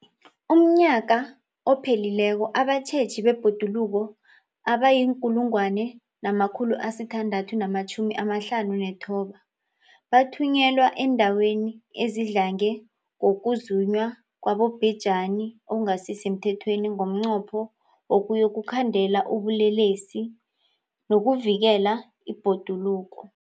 UmNnyaka ophelileko abatjheji bebhoduluko abayi-1 659 bathunyelwa eendaweni ezidlange ngokuzunywa kwabobhejani okungasi semthethweni ngomnqopho wokuyokukhandela ubulelesobu nokuvikela ibhoduluko.